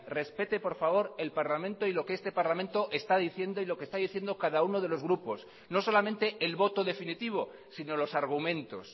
respete por favor el parlamento y lo que este parlamento está diciendo y lo que está diciendo cada uno de los grupos no solamente el voto definitivo sino los argumentos